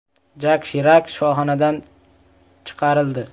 Jak Shirak shifoxonadan chiqarildi.